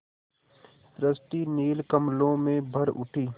सृष्टि नील कमलों में भर उठी